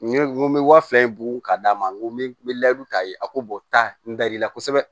N ye n bɛ wa fila in bugɔ ka d'a ma n ko n bɛ n bɛ layidu ta ye a ko bɔ ta n da l'i la kosɛbɛ